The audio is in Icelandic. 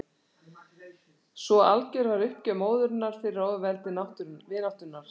Svo algjör var uppgjöf móðurinnar fyrir ofurveldi vináttunnar.